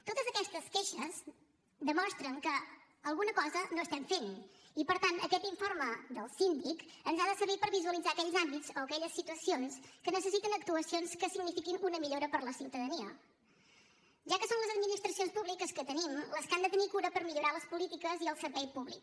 totes aquestes queixes demostren que alguna cosa no estem fent i per tant aquest informe del síndic ens ha de servir per visualitzar aquells àmbits o aquelles situacions que necessiten actuacions que signifiquin una millora per a la ciutadania ja que són les administracions públiques que tenim les que han de tenir cura per millorar les polítiques i el servei públic